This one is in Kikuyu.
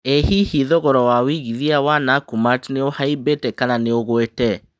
ĩ hihi thogora wa wĩigĩthĩa wa nakumatt nĩ ũhaĩmbite kana nĩ ũngũite